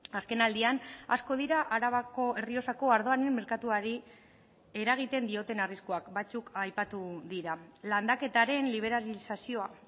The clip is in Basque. azken aldian asko dira arabako errioxako ardoaren merkatuari eragiten dioten arriskuak batzuk aipatu dira landaketaren liberalizazioa